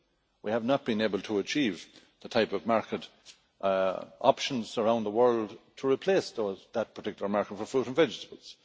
We have not been able to achieve the type of market options around the world to replace that particular market for fruit and vegetables.